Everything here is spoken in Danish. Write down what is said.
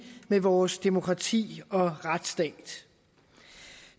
med vores demokrati og retsstat